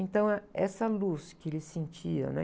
Então, eh, essa luz que ele sentia, né?